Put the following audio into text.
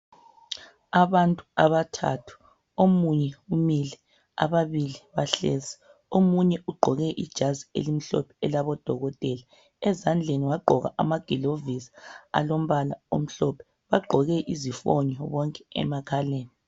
Abantu abathathu omunye umile ababili bahlezi. Omunye ugqoke ijazi elimhlophe elabodokotela . Ezandleni wagqoka amagilovisi alombala omhlophe bagqoke izifonyo bonke emakhaleni.